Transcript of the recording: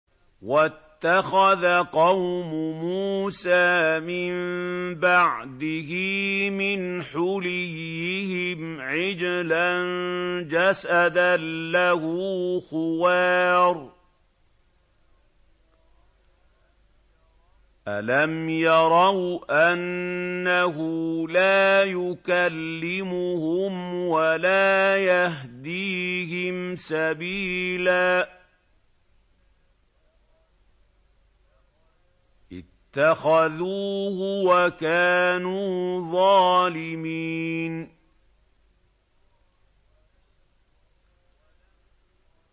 وَاتَّخَذَ قَوْمُ مُوسَىٰ مِن بَعْدِهِ مِنْ حُلِيِّهِمْ عِجْلًا جَسَدًا لَّهُ خُوَارٌ ۚ أَلَمْ يَرَوْا أَنَّهُ لَا يُكَلِّمُهُمْ وَلَا يَهْدِيهِمْ سَبِيلًا ۘ اتَّخَذُوهُ وَكَانُوا ظَالِمِينَ